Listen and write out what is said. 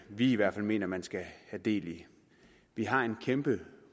vi i hvert fald mener man skal have del i vi har en kæmpe